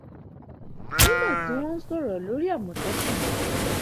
nígbà tí wọn ń sọrọ lórí àmọtẹkùn ni